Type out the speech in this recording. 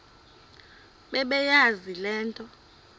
bebeyazi le nto